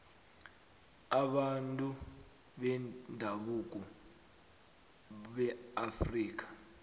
wabantu bendabuko beafrika